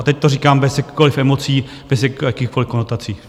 A teď to říkám bez jakkoliv emocí, bez jakýchkoliv konotací.